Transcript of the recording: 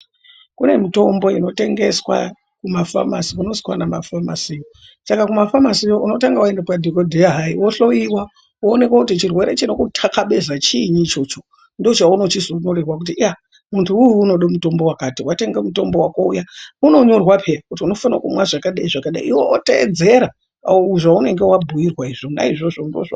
Kune mutombo inotengeswa kumafamasi kunozi kwana mafamasiyo, Saka kumafamasi unotanga waenda kwana dhokodheya wohloyiwa woonekwa kuti chirwere chinokuthakabeza chinyii ichocho ndochauno chizonyorerwa kuti muntuwo unode mutombo wakati, watenga mutombo wako uya unonyorwa peya kuti unofana kumwa zvakadai zvakadai iwe wotedzera zvaunenge wabhuidwa zvona izvozvo.